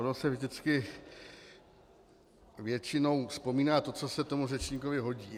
Ono se vždycky většinou vzpomíná to, co se tomu řečníkovi hodí.